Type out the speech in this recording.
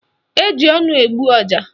Eji ọnụ egbu ọja